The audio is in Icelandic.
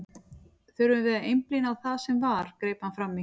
Þurfum við að einblína á það sem var, greip hann fram í.